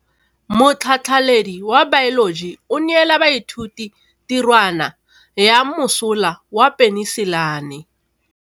Motlhatlhaledi wa baeloji o neela baithuti tirwana ya mosola wa peniselene.